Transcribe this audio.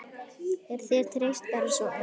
Er þér treyst bara svona?